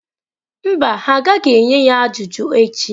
Mba, ha agaghị enye ya ajụjụ echi.